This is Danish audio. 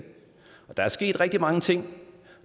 der er sket rigtig mange ting